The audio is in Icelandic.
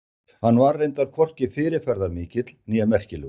Hann var reyndar hvorki fyrirferðarmikill né merkilegur.